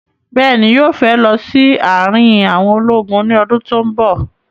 Bẹ́ẹ̀ni, yóò fẹ́ lọ sí àrin àwọn ológun ní ọdún tí ó bọ̀